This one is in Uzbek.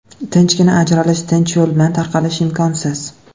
Tinchgina ajralish, tinch yo‘l bilan tarqalish imkonsiz.